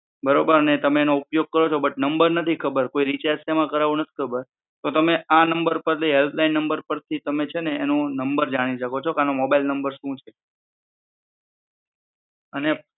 બરોબર અને તેનો ઉપયોગ કરો પણ નંબર નથી ખબર કોઈ રિચાર્જ સેમા કરવું નથી ખબર તો તમે આ નંબર થી હેલ્પ લાઈન નંબર થી તમે એનો છેને નંબર જાણી શકો છો કે આનો મોબાઈલ નંબર શું છે, ઓકે